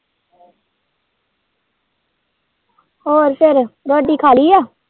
ਹੋਰ ਫੇਰ ਰੋਟੀ ਖਾ ਲਈ ਏ।